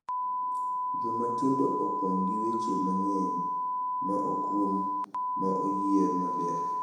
Joma tindo opong’ gi weche mang’eny ma okrum ma oyier maber .